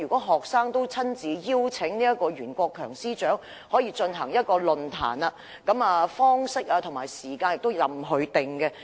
學生曾親自邀請袁國強司長出席論壇，並表示討論的方式及時間由他決定。